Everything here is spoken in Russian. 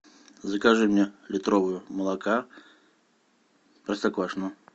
закажи мне литровую молока простоквашино